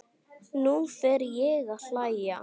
Nú fer ég að hlæja.